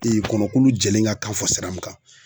kɔnɔkulu jɛlen ka kan fɔ sira mun kan